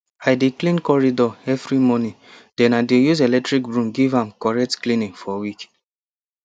i dey clean corridor evri morning den i dey use electric broom give am correct cleaning for week